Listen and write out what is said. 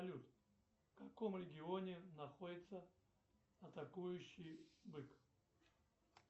салют в каком регионе находится атакующий бык